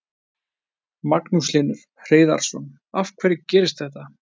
Magnús Hlynur Hreiðarsson: Af hverju gerist þetta?